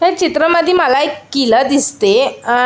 या चित्रामध्ये मला एक किला दिसते आ--